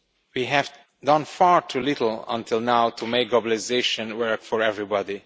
We have done far too little up to now to make globalisation work for everybody.